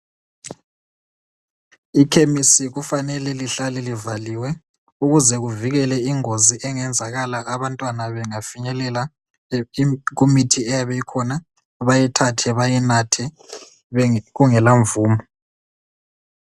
Ikhemisi kufanele lihlale livaliwe, ukuze kuvikele ingozi engenzakala abantwana bengafinyelela kumithi eyabe ikhona, bayithathe bayinathe kungelamvumo.